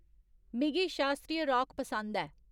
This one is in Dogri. मिगी शास्त्रीय रॉक पसंद ऐ